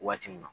Waati min na